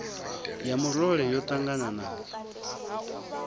ya murole ya ṱangana nadzo